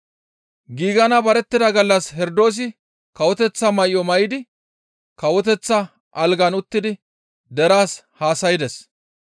Giigana barettida gallas Herdoosi kawoteththa may7o may7idi kawoteththa algan uttidi deraas haasaydes.